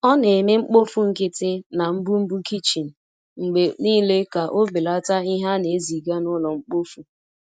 O na-eme mkpofu nkịtị na mbumbu kichin mgbe niile ka o belata ihe a na-eziga n’ụlọ mkpofu.